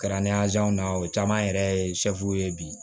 Kɛra na o caman yɛrɛ ye ye bi